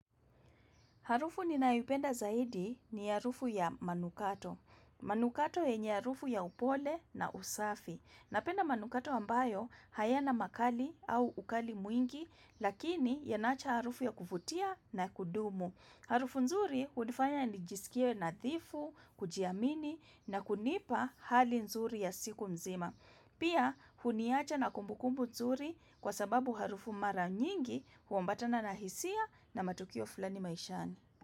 Harufu ninayoipenda zaidi ni harufu ya manukato. Manukato yenye harufu ya upole na usafi. Napenda manukato ambayo hayana makali au ukali mwingi lakini yanaacha harufu ya kuvutia na kudumu. Harufu nzuri hunifanya nijisikie nadhifu, kujiamini na kunipa hali nzuri ya siku mzima. Pia huniacha na kumbu kumbu nzuri kwa sababu harufu mara nyingi huambatana na hisia na matukio fulani maishani.